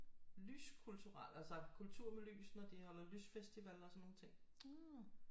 Lys kulturelle altså kultur med lys når de holder lysfestival og sådan nogle ting